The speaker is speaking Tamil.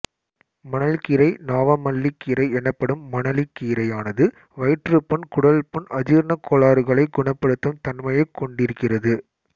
மணல்கீரை நாவமல்லிக்கீரை எனப்படும் மணலிக் கீரையானது வயிற்றுப்புண் குடல்புண் அஜீரணக் கோளாறுகளை குணப்படுத்தும் தன்மையைக் கொண்டிருக்கிறது